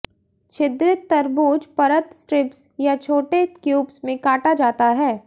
छिद्रित तरबूज परत स्ट्रिप्स या छोटे क्यूब्स में काटा जाता है